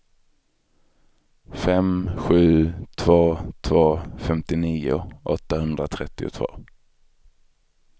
fem sju två två femtionio åttahundratrettiotvå